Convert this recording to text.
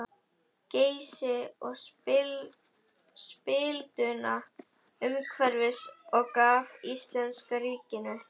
Geysi og spilduna umhverfis og gaf íslenska ríkinu.